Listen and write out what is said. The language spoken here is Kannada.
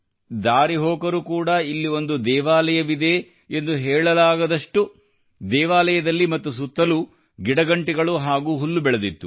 ದಾರಿಹೋಕರು ಕೂಡಾ ಇಲ್ಲಿ ಒಂದು ದೇವಾಲಯವಿದೆ ಎಂದು ಹೇಳಲಾಗದಷ್ಟು ದೇವಾಲಯದಲ್ಲಿ ಮತ್ತು ಸುತ್ತಲೂ ಗಿಡಗಂಟಿಗಳು ಹಾಗೂ ಹುಲ್ಲು ಬೆಳೆದಿತ್ತು